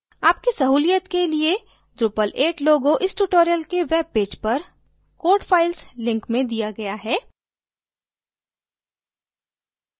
आपकी सहूलियत के लिए drupal 8 logo इस tutorial के webpage पर code files link में दिया गया है